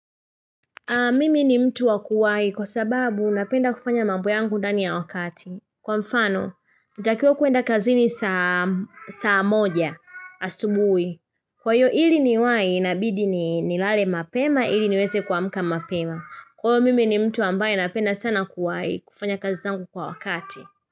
Mimi ni mtu wakuwai kwa sababu napenda kufanya mambo yangu ndani ya wakati. Kwa mfano, natakiwa kuenda kazini saa moja asubuhi. Kwa hiyo iliniwai, inabidi nilale mapema, iliniweze kuamka mapema. Kwa hivyo, mimi ni mtu ambaye napenda sana kuwai kufanya kazi tangu kwa wakati.